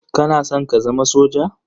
Kana san ka zama soja?